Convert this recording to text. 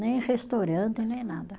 Nem restaurante, nem nada.